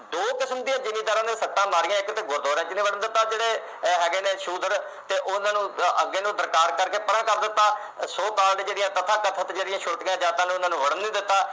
ਦੋ ਕਿਸਮ ਦੀਆਂ ਜਿਮੀਂਦਾਰਾਂ ਨੂੰ ਸੱਟਾਂ ਮਾਰੀਆਂ ਨੇ ਇਕ ਤੇ ਗੁਰਦੁਆਰਾ ਵਿੱਚ ਨਹੀਂ ਦਿੱਤਾ ਜਿਹੜੇ ਅਹ ਹੈਗੇ ਨੇ ਸ਼ੂਦਰ ਤੇ ਉਹਨਾਂ ਨੂੰ ਅੱਗੇ ਨੂੰ ਸਰਕਾਰ ਕਰਕੇ ਪਰਾ ਕਰ ਦਿੱਤਾ so-called ਜਿਹੜੀਆਂ ਕਥਾ ਜਿਹੜੀਆਂ ਛੋਟੀਆਂ ਜਾਤਾਂ ਨੇ ਉਨ੍ਹਾਂ ਨੂੰ ਵੜਨ ਨਹੀਂ ਦਿੱਤਾ